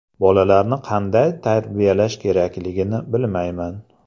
Bolalarni qanday tarbiyalash kerakligini bilmayman.